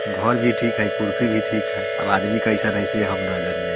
घर भी ठीक हेय कुर्सी भी ठीक हेय अब आदमी कैसन से हम ना जनिए।